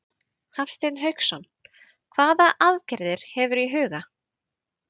Hafsteinn Hauksson: Hvaða aðgerðir hefurðu í huga?